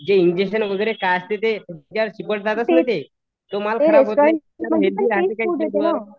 जे इंजेक्शन वगैरे असते ते तो माल